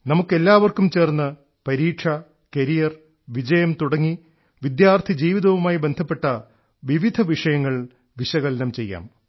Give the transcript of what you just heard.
നമുക്കെല്ലാർക്കും ചേർന്നു പരീക്ഷ കരിയർ വിജയം തുടങ്ങി വിദ്യാർത്ഥിജീവിതവുമായി ബന്ധപ്പെട്ട വിവിധ വിഷയങ്ങൾ വിശകലനം ചെയ്യാം